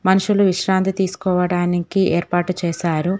మనుషులు విశ్రాంతి తీసుకోవడానికి ఏర్పాటు చేశారు.